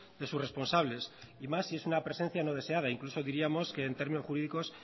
de sus responsables y más si es una presencia no deseada incluso diríamos que en términos jurídicos